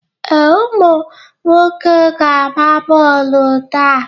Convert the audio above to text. Ee, ụmụ nwoke ga-agba bọọluụ taa.